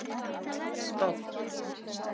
Spánn